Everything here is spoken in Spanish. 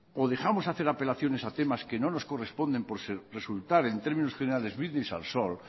o dejamos de hacer apelaciones a temas que no nos corresponden por resultar en términos generales brindis al sol